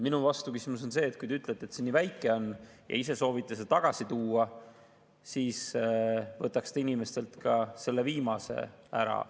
Minu vastuküsimus on see, et kui te ütlete, et see nii väike on, ja ise soovite selle tagasi tuua, siis võtaks te inimestelt ka selle viimase ära.